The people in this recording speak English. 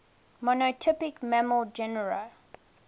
monotypic mammal genera